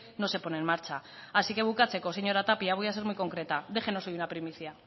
no se pone en marcha así que bukatzeko señora tapia voy a ser muy concreta déjenos hoy una primicia